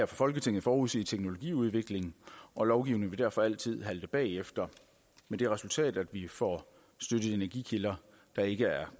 folketinget forudsige teknologiudviklingen og lovgivningen vil derfor altid halte bagefter med det resultat at vi får støttet energikilder der ikke er